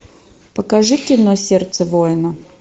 покажи кино сердце воина